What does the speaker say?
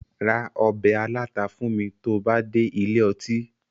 Ra ọbẹ̀ aláta fún mi tó bá dé ilé ọtí